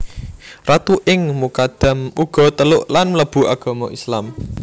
Ratu ing Mukadam uga teluk lan mlebu agama Islam